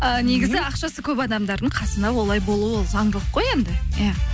і негізі ақшасы көп адамдардың қасында олай болуы ол заңдылық қой енді иә